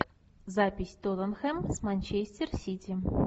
запись тоттенхэм с манчестер сити